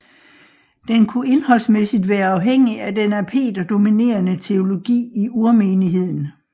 Den kunne indholdsmæssigt være afhængig af den af Peter dominerende teologi i urmenigheden